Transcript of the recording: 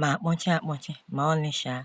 ma akpọchi akpọchi ma ọlị um.